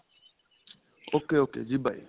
ok ok ਜੀ by